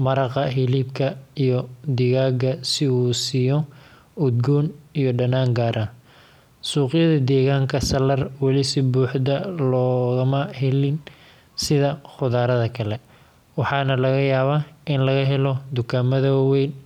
maraqa hilibka iyo digaga si u usiyo udgon iyo danan gar ah suqyaada deganka salar weli si buxda logama helin sitha qudharaada kale waxana laga yawa in laga helo tukamaada wawen.